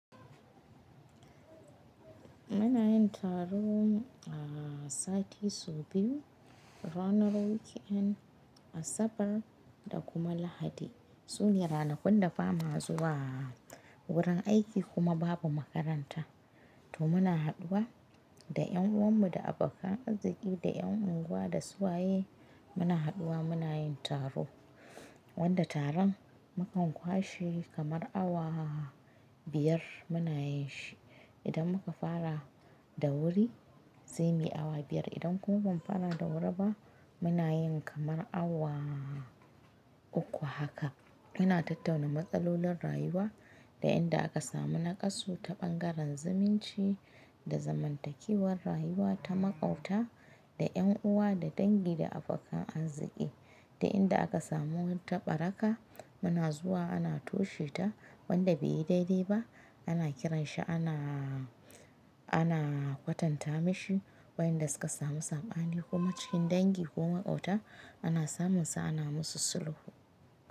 Muna yin taro a sati sau biyu ranar weekend Asabar da kuma Lahadi. Sune ranakun da ba mu zuwa wurin aiki kuma babu makaranta. To muna haduwa da ƴan uwan mu da abokan arziki da ƴan unguwa da su waye muna haduwa muna yin taro. Wanda taron mu kan kwashe kamar awa biyar muna yin shi. Idan muka fara da wuri zai yi awa biyar idan kuma ban fara da wuri ba muna yin kamar awa uku haka. Muna tattauna matsalolin rayuwa da inda aka samu naƙasu ta ɓangaren zumunci da zamantakewar rayuwa ta maƙauta da ƴan uwa da dangi da abokan arziki. Da inda aka samu ta ɓaraka muna zuwa ana toshe ta wanda bai yi daidai ba ana kiran shi ana ana kwatanta mashi. Wayanda suka samu sabani kuma cikin dangi ko maƙauta ana samunsa ana musu sulhu.